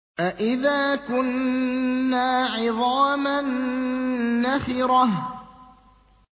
أَإِذَا كُنَّا عِظَامًا نَّخِرَةً